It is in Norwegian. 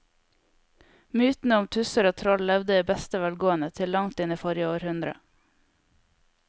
Mytene om tusser og troll levde i beste velgående til langt inn i forrige århundre.